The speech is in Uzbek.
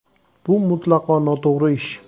“Bu mutlaqo noto‘g‘ri ish.